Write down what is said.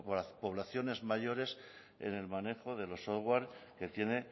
poblaciones mayores en el manejo de los software que tiene